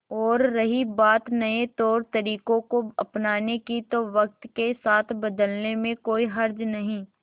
और रही बात नए तौरतरीकों को अपनाने की तो वक्त के साथ बदलने में कोई हर्ज नहीं